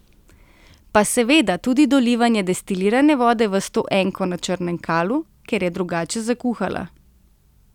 Pa seveda tudi dolivanje destilirane vode v stoenko na Črnem Kalu, ker je drugače zakuhala.